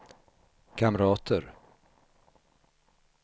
kamrater